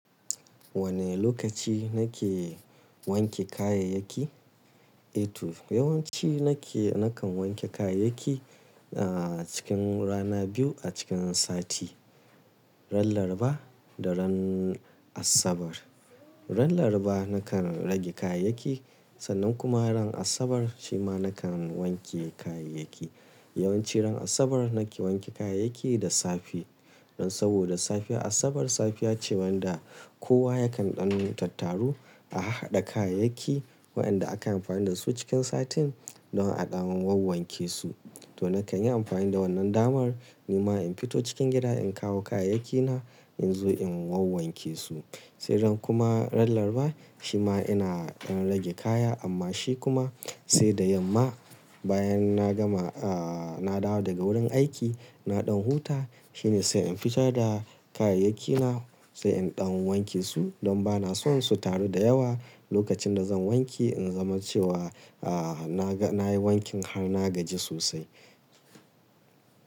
Wane lokaci na ke wanke kayayyaki? Eto yawanci na ke, na kan wanke kayayyaki, ah cikin rana biyu a cikin sati. Ran Laraba da ran Asabar. Ran Larba na kan rage kayayyaki sannan kuma ran Asabar shi ma na kan wanke kayayyaki. Yawanci ran Asabar na ke wanke kayayyaki da safe. Saboda safe Asabar safiya ce wanda kowa ya kan ɗan tattaru a haɗa kayayyaki waɗanda aka yi amfani da su cikin satin don a ɗamu wanke su. To na kan yi amfani da wannan damar ni ma in fito cikin gida in kawo kayayyaki na in zo in wanke su. Sai ran kuma ran Laraba shi ma ina, ina rage kaya amma shi kuma sai da yamma bayan na gama ah na dawo daga wurin aiki, na ɗan huta shi ne sai in fitar da kayayyaki na sai in ɗamu wanke su don ba na so su taru da yawa. Lokacin da zan wanke in zama cewa ah na ga, na yi wankin har na gaji sosai.